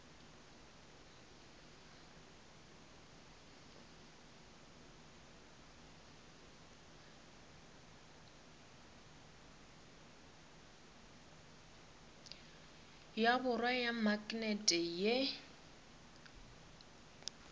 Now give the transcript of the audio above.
ya borwa ya maknete ye